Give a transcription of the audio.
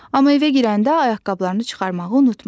Amma evə girəndə ayaqqabılarını çıxarmağı unutma.